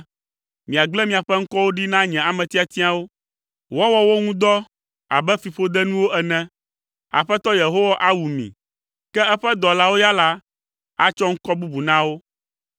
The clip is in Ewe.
Miagblẽ miaƒe ŋkɔwo ɖi na nye ame tiatiawo woawɔ wo ŋu dɔ abe fiƒodenuwo ene. Aƒetɔ Yehowa awu mi, ke eƒe dɔlawo ya la, atsɔ ŋkɔ bubu na wo.